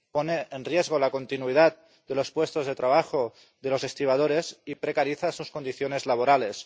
pone en riesgo la continuidad de los puestos de trabajo de los estibadores y precariza sus condiciones laborales.